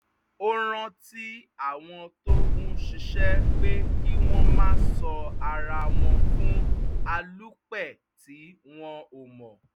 ó rántí àwọn tó ń ṣiṣẹ́ pé kí wọ́n má sọ ara wọn fún alúpẹ̀ tí wọ́n ò mọ̀